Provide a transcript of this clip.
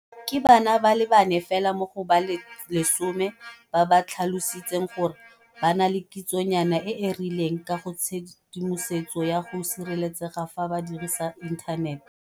Ke bana ba le bane fela mo go ba le 10 ba ba tlhalositseng gore ba na le kitsonyana e e rileng ka ga tshedimosetso ya go sireletsega fa ba dirisa inthanete.